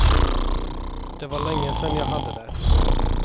Det var länge sen jag hade det.